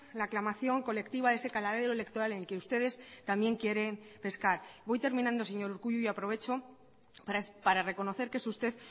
la aclamación colectiva de ese caladero electoral en que ustedes también quieren pescar voy terminando señor urkullu y aprovecho para reconocer que es usted